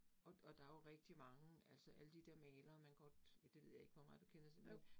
Og og der jo rigtig mange, altså alle de der malere, man godt, ja det ved jeg ikke, hvor meget du kender til men